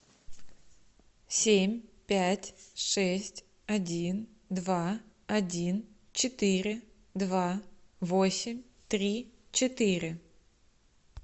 семь пять шесть один два один четыре два восемь три четыре